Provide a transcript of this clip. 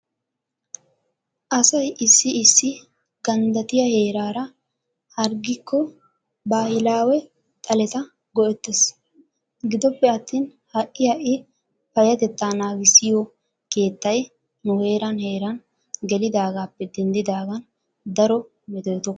Asay issi issi ganddattiya heeraara hargikko baahilaawe xaleta go'ettes. Gidoppe attin ha'i ha'i payatettaa naagissiyoo keettay nu heeran heeran gelidaagaappe denddidaagan daro metootokkona.